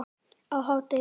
á hádegi.